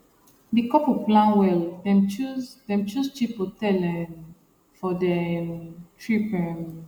di couple plan well dem choose dem choose cheap hotel um for their um trip um